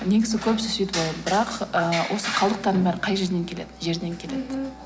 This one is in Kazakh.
негізі көбісі сөйтіп ойлайды бірақ ыыы осы қалдықтардың бәрі қай жерден келеді жерден келеді мхм